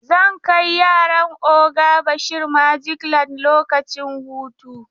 Zan kai yaran oga Bashari magic land lokacin hutu.